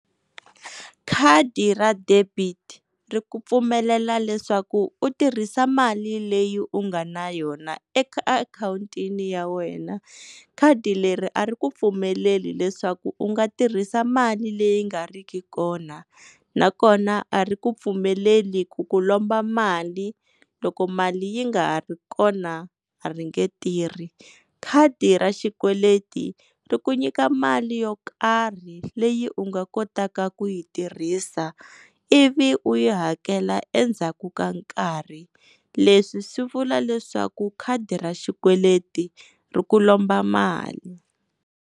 Khadi ra debit ri ku pfumelela leswaku u tirhisa mali leyi u nga na yona eka akhawuntini ya wena, khadi leri a ri ku pfumeleli leswaku u nga tirhisa mali leyi nga riki kona nakona a ri ku pfumeleli ku ku lomba mali loko mali yi nga ha ri kona a ri nge tirhi. Khadi ra xikweleti ri ku nyika mali yo karhi leyi u nga kotaka ku yi tirhisa ivi u yi hakela endzhaku ka nkarhi leswi swi vula leswaku khadi ra xikweleti ri ku lomba mali.